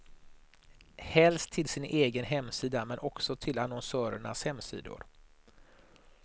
Helst till sin egen hemsida, men också till annonsörernas hemsidor.